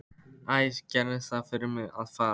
Æ, gerið það fyrir mig að fara.